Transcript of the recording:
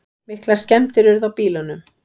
Miklar skemmdir urðu á bílunum.